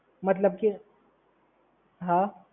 મતલબ કે, હા